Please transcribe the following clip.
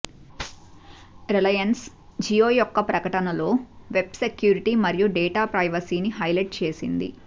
Reliance Jio యొక్క ప్రకటనలో web security మరియు డేటా ప్రైవసీను హైలైట్ చేసింది